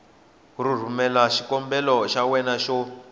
rhumelela xikombelo xa wena xo